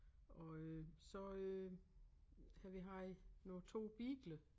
Og øh så øh har vi haft nu 2 beagler